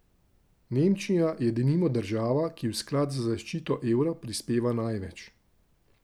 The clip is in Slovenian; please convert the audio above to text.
Nemčija je denimo država, ki v sklad za zaščito evra prispeva največ.